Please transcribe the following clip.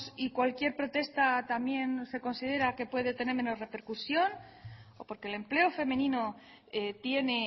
y cualquier protesta también se considera que puede tener menos repercusión o porque el empleo femenino tiene